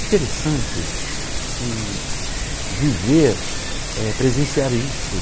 Interessante que viver, é presenciar isso.